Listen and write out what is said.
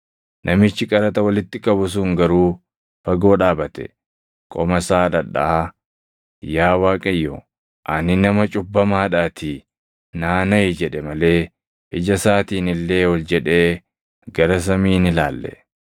“Namichi qaraxa walitti qabu sun garuu fagoo dhaabate, qoma isaa dhadhaʼaa, ‘Yaa Waaqayyo, ani nama cubbamaadhaatii naa naʼi!’ jedhe malee ija isaatiin illee ol jedhee gara samii hin ilaalle.